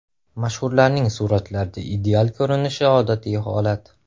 Mashhurlarning suratlarda ideal ko‘rinishi odatiy holat.